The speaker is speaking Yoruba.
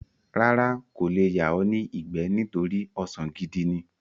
Rárá, kò le yà ọ́ ní ìgbẹ́ nítorí ọsàn gidi ní.